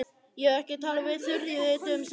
Ég hef ekki talað við Þuríði dögum saman.